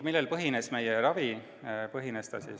Millel meie ravi põhines?